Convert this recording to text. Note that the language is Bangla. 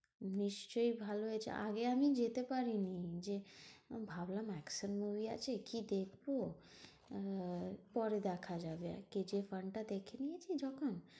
নিশ্চই ভালো হয়েছে। আগে আমি যেতে পারিনি যে ভাবলাম action movie আছে কি দেখবো? আহ পরে দেখা যাবে। কে জি এফ one টা দেখে নিয়েছি যখন।